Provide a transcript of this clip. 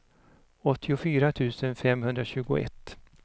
åttiofyra tusen femhundratjugoett